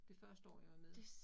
Det første år jeg var med